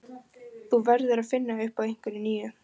Þú verður að finna upp á einhverju nýju.